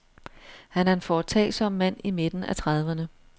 Han er en foretagsom mand i midten af trediverne.